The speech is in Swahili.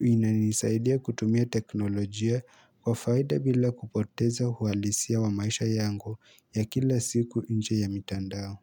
inanisaidia kutumia teknolojia kwa faida bila kupoteza hualisia wa maisha yangu ya kila siku nje ya mitandao.